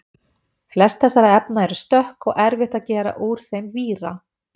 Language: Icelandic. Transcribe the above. flest þessara efna eru stökk og erfitt að gera úr þeim víra